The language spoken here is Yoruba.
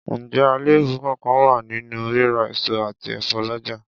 Ǹjẹ́ àléébù kánkán wà nínú rírà èso àti ẹ̀fọ́ lọ́jà?